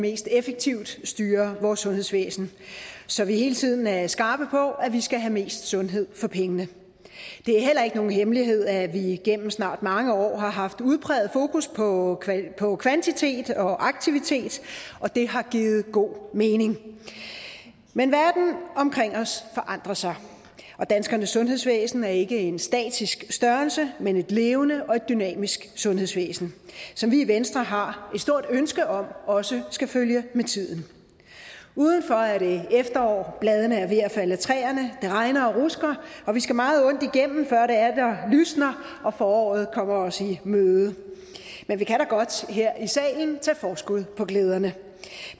mest effektivt styrer vores sundhedsvæsen så vi hele tiden er skarpe på at vi skal have mest sundhed for pengene det er heller ikke nogen hemmelighed at vi igennem snart mange år har haft udpræget fokus på på kvantitet og aktivitet og det har givet god mening men verden omkring os forandrer sig og danskernes sundhedsvæsen er ikke en statisk størrelse men et levende og dynamisk sundhedsvæsen som vi i venstre har stort ønske om også skal følge med tiden udenfor er det efterår bladene er ved at falde af træerne det regner og rusker og vi skal meget ondt igennem før det atter lysner og foråret kommer os i møde men vi kan da godt her i salen tage forskud på glæderne